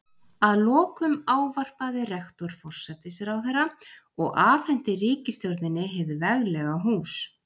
Að lokum ávarpaði rektor forsætisráðherra og afhenti ríkisstjórninni hið veglega hús.